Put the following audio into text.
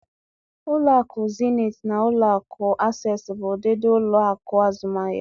Ụlọ akụ zenit na ụlo akụ Asesi bụ ụdịdị ụlọ akụ azụmahia.